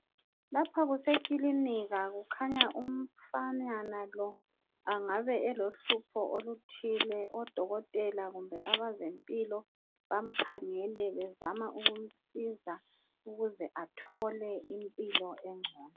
Lapha kusekilinika kukhanya umfanyana lo angabe elohlupho oluthile, odokotela kumbe abazempilo bamkhangele bezama ukumsiza ukuze athole impilo engcono.